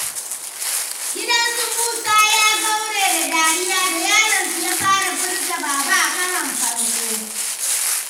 Gidan su Musa ya kaure da dariya, da yaron su ya fara furta "Baba" a karon farko.